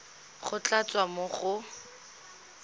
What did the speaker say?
go tla tswa mo go